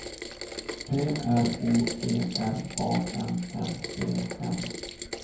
P R O G R A M M E N